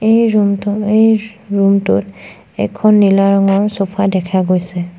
এই ৰুমটো এই ৰুমটোত এখন নীলা ৰঙৰ চোফা দেখা গৈছে।